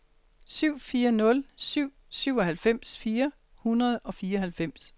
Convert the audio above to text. syv fire nul syv syvoghalvfems fire hundrede og fireoghalvfems